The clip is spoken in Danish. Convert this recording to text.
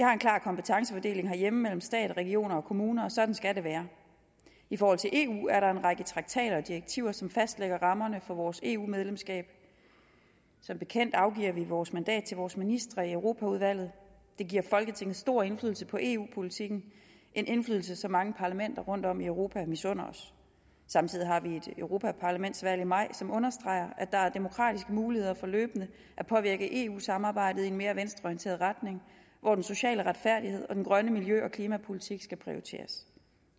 har en klar kompetencefordeling herhjemme mellem stat regioner og kommuner og sådan skal det være i forhold til eu er der en række traktater og direktiver som fastlægger rammerne for vores eu medlemskab som bekendt afgiver vi vores mandat til vores ministre i europaudvalget det giver folketinget stor indflydelse på eu politikken en indflydelse som mange parlamenter rundtom i europa misunder os samtidig har vi et europaparlamentsvalg i maj som understreger at der er demokratiske muligheder for løbende at påvirke eu samarbejdet i en mere venstreorienteret retning hvor den sociale retfærdighed og den grønne miljø og klimapolitik skal prioriteres